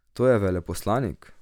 To je veleposlanik?